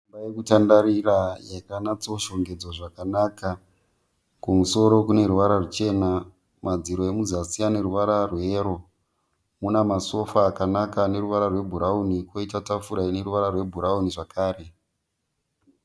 Imba yokutandarira yakanatso shongedzwa zvakanaka. Kumusoro kune ruvara ruchena madziro emuzasi ane ruvara rweyero. Mune masofa akanaka ane ruvara rwebhurawuni kwoita tafura ine ruvara rwebhurawuni zvekare.